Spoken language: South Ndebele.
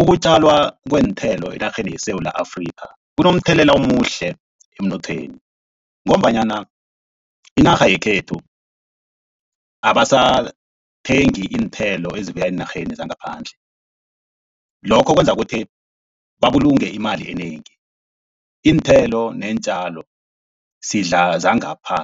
Ukutjalwa kweenthelo enarheni yeSewula Afrika, kunomthelela omuhle emnothweni, ngombanyana inarha yekhethu abasathengi iinthelo ezibuya eenarheni zangaphandle, lokho kwenza kuthi babulunge imali enengi. Iinthelo neentjalo sidla zangapha